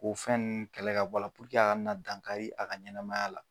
K'o fɛn ninnu kɛlɛ ka bɔ a la walasa a ka na dangari kɛ a ka ɲɛnamaya la.